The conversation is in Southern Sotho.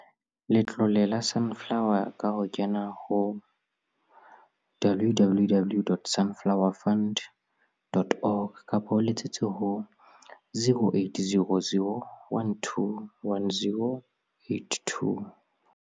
Letlole la Sunflower ka ho kena ho www.sunflowefund.org kapa o letsetse ho 0800 12 10 82.